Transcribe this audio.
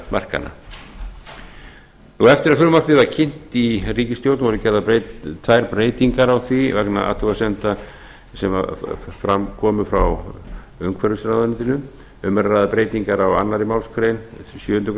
sveitarfélagamarkanna eftir að frumvarpið var kynnt í ríkisstjórn voru gerðar tvær breytingar á því vegna athugasemda sem fram komu frá umhverfisráðuneytinu um er að ræða breytingar á annarri málsgrein sjöundu greinar en